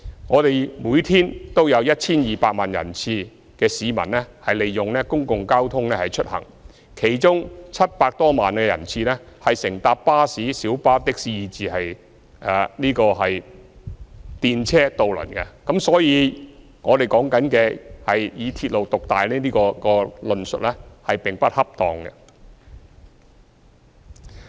我們每天有 1,200 萬人次的市民利用公共交通出行，其中有700多萬人次乘搭巴士、小巴、的士以至電車和渡輪，所以，所謂"鐵路獨大"的論述並不恰當。